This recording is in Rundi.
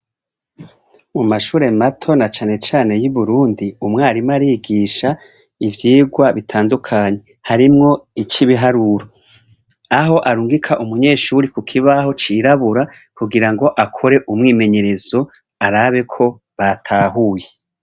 Mu mashure mato, na cane cane ayi Burundi, umwarimu arigisha ivyigwa bitandukanye. Harimwo ic'ibiharuro, aho arungika umunyeshure ku kibaho cirabura kugira ngo akore umwimenyerezo, arabe ko batahuye